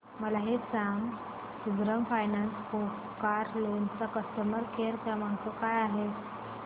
मला हे सांग सुंदरम फायनान्स कार लोन चा कस्टमर केअर क्रमांक काय आहे